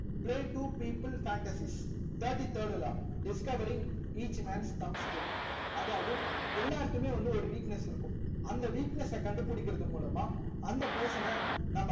play two people fantasis thirty third law discovering each mans thumbs group அதாவது எல்லார்க்குமே வந்து ஒரு weakness இருக்கும் அந்த weakness ச கண்டுபுடிகர்த்து மூலமா அந்த person நம்ப